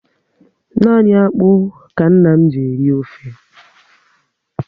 Nani akpụ ka nna m ji eri ofe